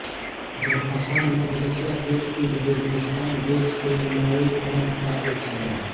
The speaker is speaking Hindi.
ज़रफ़शान मध्य एशिया के उज़बेकिस्तान देश के नवोई प्रान्त का एक शहर है